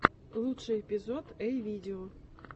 лучший эпизод эй видео